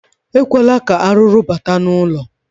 Ekwela ka arụrụ bata n'ụlọ.